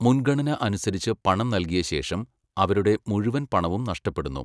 മുൻഗണന അനുസരിച്ച് പണം നൽകിയ ശേഷം, അവരുടെ മുഴുവൻ പണവും നഷ്ടപ്പെടുന്നു.